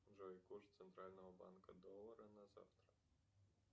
джой курс центрального банка доллара на завтра